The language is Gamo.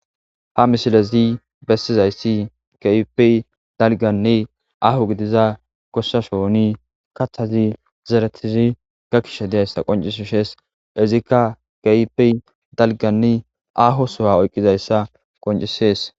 ha misilezi bessizayssi kehipey dalganni aho gidiza gossashooni kachazi zeretizi ga kishe diyayssa qoncisishees izikka kehipey dalganni aho sowa oyqqizayssa qoncisees